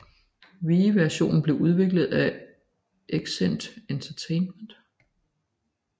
Wii versionen blev udviklet af Exient Entertainment